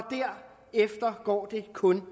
derefter går det kun